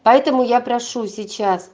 поэтому я прошу сейчас